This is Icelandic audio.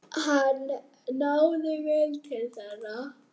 Hann náði vel til þeirra.